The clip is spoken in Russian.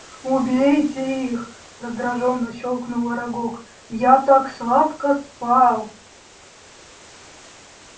убейте их раздражённо щёлкнул арагог я так сладко спал